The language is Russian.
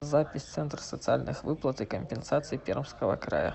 запись центр социальных выплат и компенсаций пермского края